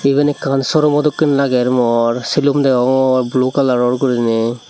ebane akan sorumodokane lager mor silum degogor blue colour gurinaie.